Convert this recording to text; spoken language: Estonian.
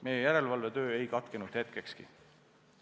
Meie järelevalvetöö ei katkenud hetkekski.